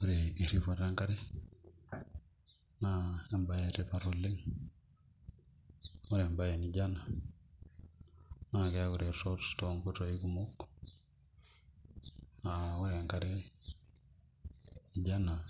oree eripoto enkare naa embae tipat oleng oree embae nijo ena neaku retot toonkoitoi kumok, naa koree enkare neijo ena naa